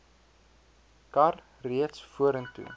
kar reeds vorentoe